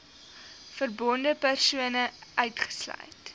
verbonde persone uitgesluit